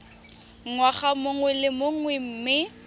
ngwaga mongwe le mongwe mme